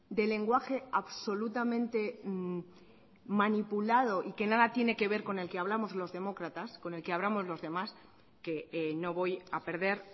de lenguaje absolutamente manipulado y que nada tiene que ver con el que hablamos los demócratas con el que hablamos los demás que no voy a perder